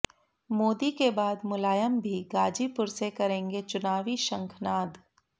मोदी के बाद मुलायम भी गाजीपुर से करेंगे चुनावी शंखनाद